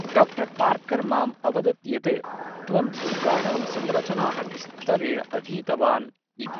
Doctor Parker माम् अवदत् यत् त्वं दुर्गाणां संरचनाः विस्तरेण अधीतवान् इति।